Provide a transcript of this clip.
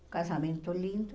Um casamento lindo.